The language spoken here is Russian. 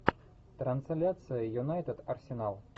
трансляция юнайтед арсенал